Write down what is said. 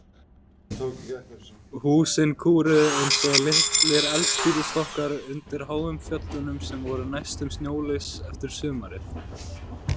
Húsin kúrðu eins og litlir eldspýtustokkar undir háum fjöllunum, sem voru næstum snjólaus eftir sumarið.